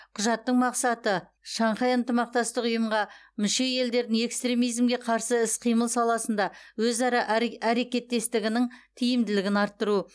құжаттың мақсаты шанхай ынтымақтастық ұйымға мүше елдердің экстремизмге қарсы іс қимыл саласында өзара әре әрекеттестігінің тиімділігін арттыру